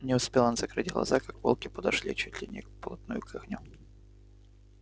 не успел он закрыть глаза как волки подошли чуть ли не вплотную к огню